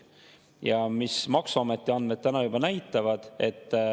Ja mis maksuameti andmed täna juba näitavad …